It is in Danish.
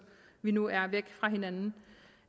vi nu er væk fra hinanden